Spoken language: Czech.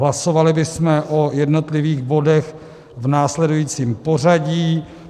Hlasovali bychom o jednotlivých bodech v následujícím pořadí.